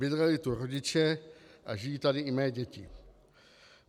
Bydleli tu rodiče a žijí tady i mé děti.